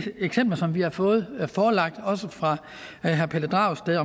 eksempler som vi har fået forelagt også fra herre pelle dragsted